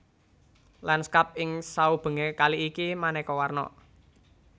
Lanskap ing saubengé kali iki manéka warna